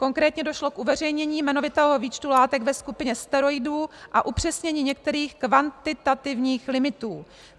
Konkrétně došlo k uveřejnění jmenovitého výčtu látek ve skupině steroidů a upřesnění některých kvantitativních limitů.